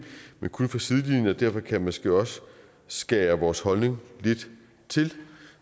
men kun fra sidelinjen og derfor kan jeg måske også skære vores holdning lidt til